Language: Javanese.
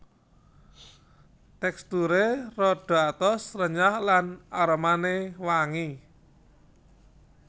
Teksturé rada atos renyah lan aromané wangi